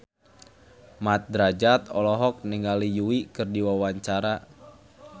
Mat Drajat olohok ningali Yui keur diwawancara